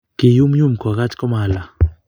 kiyumyum kokach komalaa